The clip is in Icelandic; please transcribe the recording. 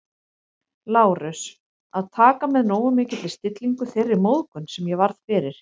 Lárus, að taka með nógu mikilli stillingu þeirri móðgun, sem ég varð fyrir